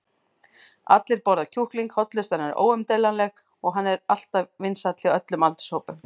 allir borða kjúkling, hollustan er óumdeilanleg og hann er alltaf vinsæll hjá öllum aldurshópum.